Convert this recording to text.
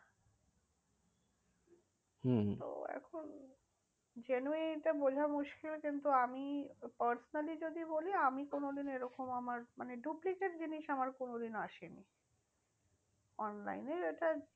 হম হম তো এখন genuinity টা বোঝা মুশকিল। কিন্তু আমি personally যদি বলি, আমি কোনোদিন এরকম আমার মানে duplicate জিনিস আমার কোনোদিনও আসেনি। online এর এটা